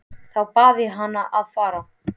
Þá bað ég hann að fara.